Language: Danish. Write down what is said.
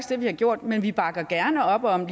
det vi har gjort men vi bakker gerne op om